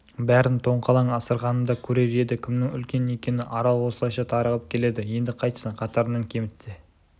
бәрін тоңқалаң асырғанымда көрер еді кімнің үлкен екенін арал осылайша тарығып келеді енді қайтсін қатарынан кемітсе